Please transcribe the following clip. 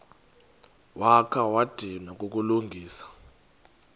wakha wadinwa kukulungisa